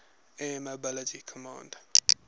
air mobility command